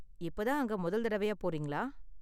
இப்போ தான் அங்க முதல் தடவையா போறீங்களா?